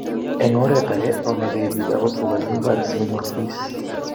eng oret age, yonegei biik ago tuga eng imbar asigonyor kokeis